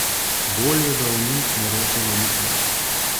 Bolje, da o njih ne rečemo nič več.